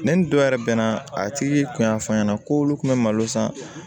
Ne ni dɔ yɛrɛ bɛnna a tigi kun y'a fɔ an ɲɛna ko olu kun bɛ malo san